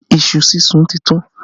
Iṣu súnsun ti tán